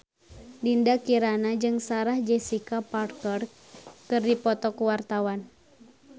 Dinda Kirana jeung Sarah Jessica Parker keur dipoto ku wartawan